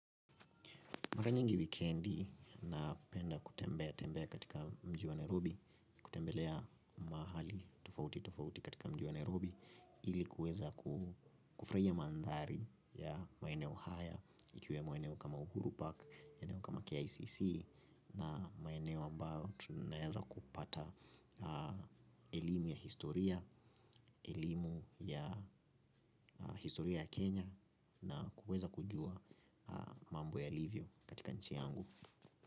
Mara nyingi wikendi napenda kutembea tembea katika mji wa Nairobi, kutembelea mahali tofauti tofauti katika mji wa Nairobi, ili kuweza kufuraia mandhari ya maeneo haya, ikiwemo eneo kama Uhuru Park, maeneo kama KICC, na maeneo ambayo tunaeza kupata elimu ya historia ya Kenya, na kuweza kujua mambo yalivyo katika nchi yangu.